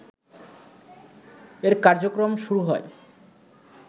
এর কার্যক্রম শুরু হয়